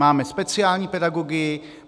Máme speciální pedagogy.